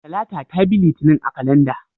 Talata ta bi Litinin a kalandar.